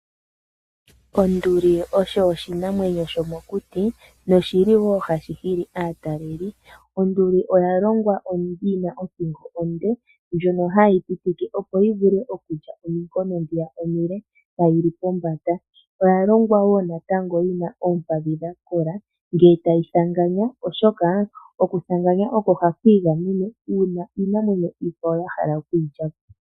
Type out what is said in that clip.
Onduli osho oshinamwenyo shomokuti noshili hashinana ataleli, onduli oyashitwa yina othingo onde ndjono hayipitike opo yivule okulya ominkono dhono omile tayili pombanda, oyashitwa ishewe yina omakondo ngakola ngele tayithanganya oshoka okuthanganya oko hayingamene nako una Iinamwenyo iikwawo yahala okwilyapo.